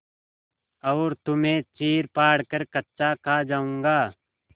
और तुम्हें चीरफाड़ कर कच्चा खा जाऊँगा